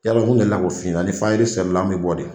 Yalɔ n delila ko f'i ɲɛna ni fari selila an mɛ bɔ de.